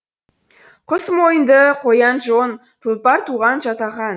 құс мойынды қоян жон тұлпар туған жатаған